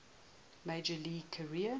major league career